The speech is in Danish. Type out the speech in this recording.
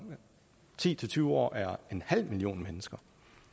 ti til tyve år er en halv million mennesker